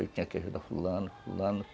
Eu tinha que ajudar fulano, fulano.